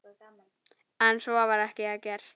En svo var ekki gert.